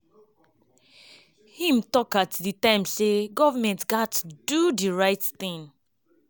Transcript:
im tok at di time say goment gatz to do “di right tin”.